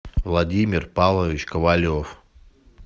владимир павлович ковалев